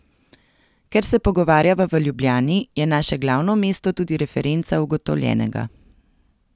Ker se pogovarjava v Ljubljani, je naše glavno mesto tudi referenca ugotovljenega.